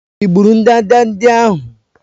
Ị gburu ndanda ndị ahụ?